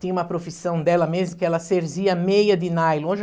Tinha uma profissão dela mesmo, que ela cerzia meia de nylon.